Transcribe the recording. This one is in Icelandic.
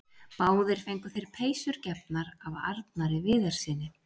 Báðir fengu þeir peysur gefnar af Arnari Viðarssyni.